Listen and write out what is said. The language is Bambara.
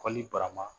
Kɔlili barama